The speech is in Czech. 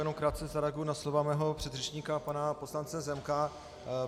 Jenom krátce zareaguji na slova svého předřečníka pana poslance Zemka.